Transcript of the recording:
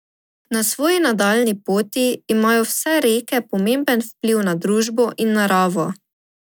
Na svoji nadaljnji poti imajo vse reke pomemben vpliv na družbo in naravo.